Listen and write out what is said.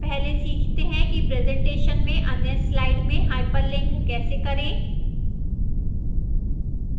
पहले सीखते हैं कि presentation में अन्य slide में hyperlink कैसे करें